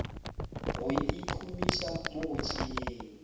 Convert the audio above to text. go ikhumiša mo go tšeeng